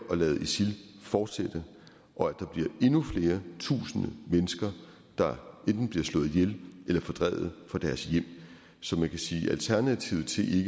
lade isil fortsætte og at der bliver endnu flere tusinde mennesker der enten bliver slået ihjel eller fordrevet fra deres hjem så man kan sige at alternativet til